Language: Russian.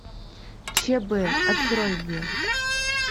чб открой мне